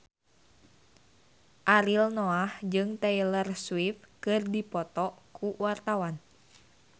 Ariel Noah jeung Taylor Swift keur dipoto ku wartawan